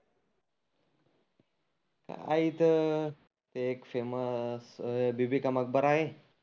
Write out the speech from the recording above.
काय इथं ते एक फेमस बिबीका मकबराह आहे.